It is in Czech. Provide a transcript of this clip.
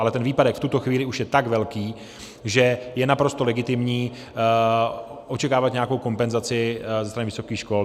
Ale ten výpadek v tuto chvíli už je tak velký, že je naprosto legitimní očekávat nějakou kompenzaci ze strany vysokých škol.